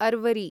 अर्वरि